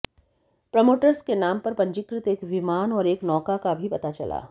promoters के नाम पर पंजीकृत एक विमान और एक नौका का भी पता चला